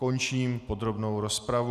Končím podrobnou rozpravu.